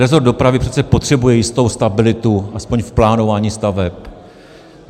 Rezort dopravy přece potřebuje jistou stabilitu aspoň v plánování staveb.